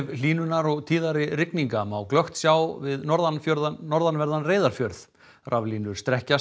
hlýnunar og tíðari rigninga má glöggt sjá við norðanverðan norðanverðan Reyðarfjörð raflínur